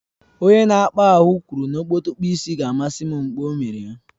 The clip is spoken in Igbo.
Onye na-akpa ahụ kwuru na okpotokpo isi ga-amasị m mgbe ọ mere ya